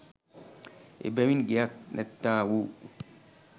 එබැවින් ගෙයක් නැත්තා වූ